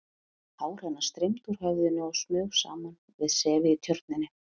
Hár hennar streymdi úr höfðinu og smaug saman við sefið í Tjörninni.